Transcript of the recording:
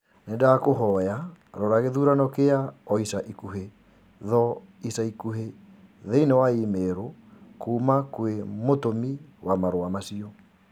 Nĩndakũhoya rora gĩthurano kia o ica ikuhĩ tho ica ikuhĩ thĩini wa i-mīrū kũũma kwĩ mũtũmi wa marũa macio